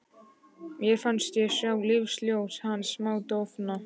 Mér fannst ég sjá lífsljós hans smádofna.